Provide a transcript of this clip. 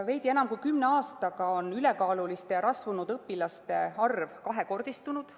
Veidi enam kui kümne aastaga on ülekaaluliste ja rasvunud õpilaste arv kahekordistunud.